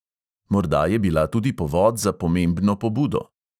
Morda je bila tudi povod za pomembno pobudo.